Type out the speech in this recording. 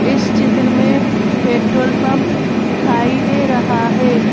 इस चित्र में पेट्रोल पंप दिखाई दे रहा है।